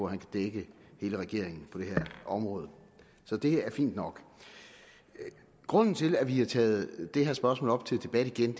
han kan dække hele regeringen på det her område så det er fint nok grunden til at vi har taget det her spørgsmål op til debat igen